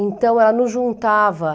Então, ela nos juntava.